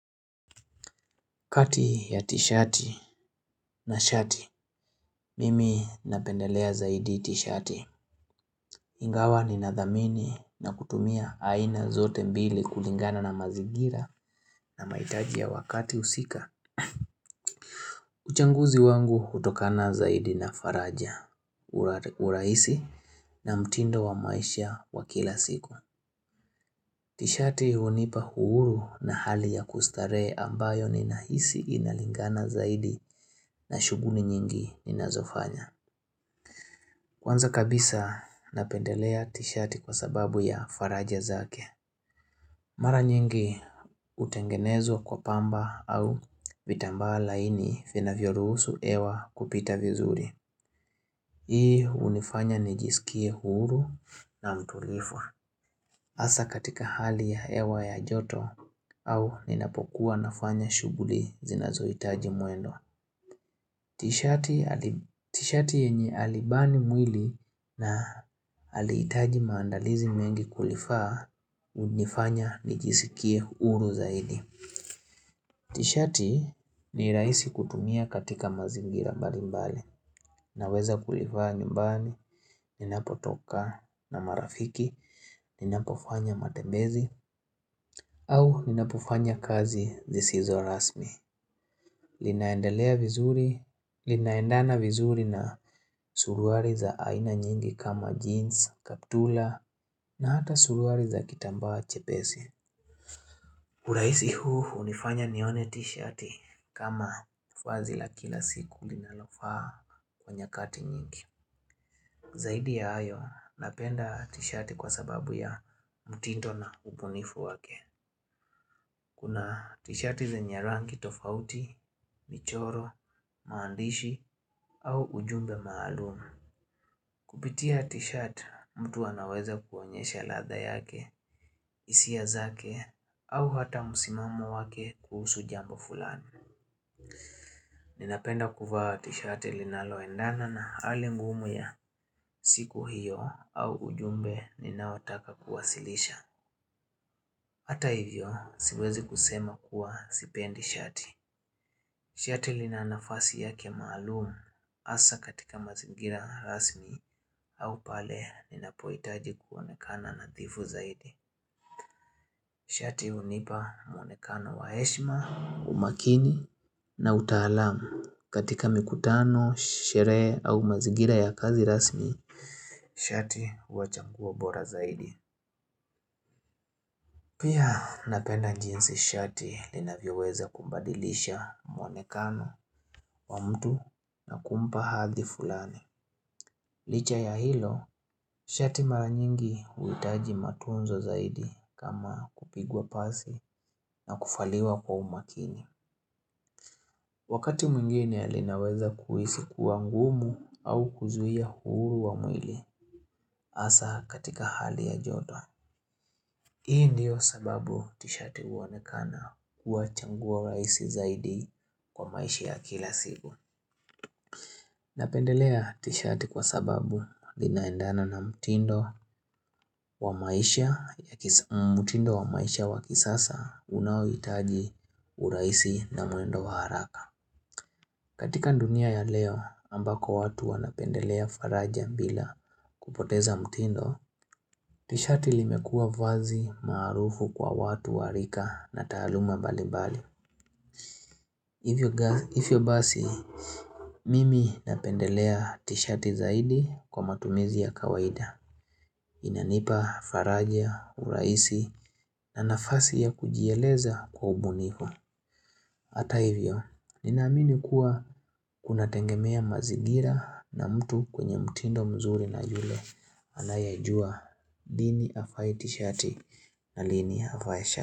Kati ya tishati na shati, mimi napendelea zaidi tishati. Ingawa ninadhamini na kutumia aina zote mbili kulingana na mazingira na mahitaji ya wakati husika. Uchaguzi wangu hutokana zaidi na faraja, urahisi na mtindo wa maisha wa kila siku. Tishati hunipa uhuru na hali ya kustarehe ambayo ninahisi inalingana zaidi na shughuli nyingi ninazofanya. Kwanza kabisa, napendelea tishati kwa sababu ya faraja zake. Mara nyingi hutengenezwa kwa pamba au vitamba laini vinavyo ruhusu hewa kupita vizuri. Hii hunifanya nijisikie huru na mtulivu Hasa katika hali ya hewa ya joto au ninapokuwa nafanya shughuli zinazohitaji muendo. Tishati yenye halibani mwili na halihitaji maandalizi mengi kulivaa hunifanya nijisikie huru zaidi. Tishati ni rahisi kutumia katika mazingira mbali mbali naweza kulivaa nyumbani, ninapotoka na marafiki, ninapofanya matembezi au ninapofanya kazi zisizo rasmi. Linaendelea vizuri, linaendana vizuri na suruari za aina nyingi kama jeans, kaptura na hata suruari za kitambaa chepesi urahisi huu hunifanya nione tishati kama vazi la kila siku linalofaa kwa nyakati nyingi Zaidi ya hayo, napenda tishati kwa sababu ya mutindo na ubunifu wake Kuna tishiati zenye rangi tofauti, michoro, maandishi au ujumbe maalumu. Kupitia tishati mtu anaweza kuonyesha ladha yake, hisia zake au hata msimamo wake kuhusu jambo fulani. Ninapenda kuva tishati linaloendana na hali ngumu ya siku hiyo au ujumbe ninaotaka kuwasilisha. Hata hivyo siwezi kusema kuwa sipendi shati. Shati lina nafasi yake maalumu hasa katika mazigira rasmi au pale ninapohitaji kuonekana nadhifu zaidi. Shati hunipa mwonekano wa heshima, umakini na utaalamu katika mikutano, sherhe au mazingira ya kazi rasmi. Shati huwa changuo bora zaidi. Pia napenda jinsi shati linavyoweza kumbadilisha mwonekano wa mtu na kumpa hadhi fulani. Licha ya hilo, shati mara nyingi huitaji matunzo zaidi kama kupigwa pasi na kuvaliwa kwa umakini. Wakati mwingine linaweza kuhisi kuwa ngumu au kuzuia uhuru wa mwili hasa katika hali ya joto. Hii ndiyo sababu tishati huonekana kuwa chaguo rahisi zaidi kwa maisha ya kila siku. Napendelea tishati kwa sababu linaendana na mtindo mtindo wa maisha ya kisasa unaohitaji urahisi na mwendo wa haraka. Katika dunia ya leo, ambako watu wanapendelea faraja bila kupoteza mtindo, tishati limekua vazi marufu kwa watu wa rika na taluma mbalimbali. Hivyo basi, mimi napendelea tishati zaidi kwa matumizi ya kawaida Inanipa faraja, urahisi na nafasi ya kujieleza kwa ubunifu Hata hivyo, ninaamini kuwa kuna tegemea mazingira na mtu kwenye mtindo mzuri na yule anayejua lini avae tishati na lini avae shati.